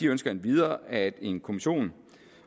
ønsker endvidere at en kommission